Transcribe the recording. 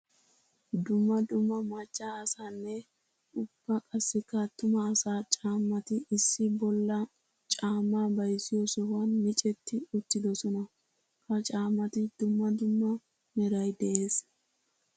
Dumma dumma maca asaanne ubba qassikka atuma asaa caaamatti issi bolla caama bayzziyo sohuwan miccetti uttidosonna. Ha caamatti dumma dumma meray de'ees.